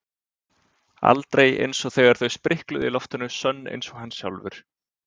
Aldrei einsog þegar þau sprikluðu í loftinu sönn einsog hann sjálfur.